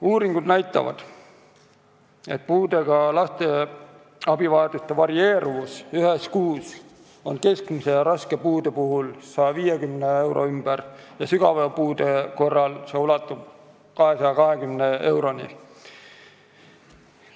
Uuringud näitavad, et puudega laste abivajaduse varieeruvus ühes kuus on keskmise ja raske puude puhul 150 euro ümber, sügava puude korral aga ulatub see 220 euroni.